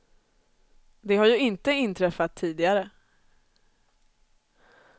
Det har ju inte inträffat tidigare.